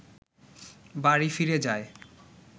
বাড়ি ফিরে যায়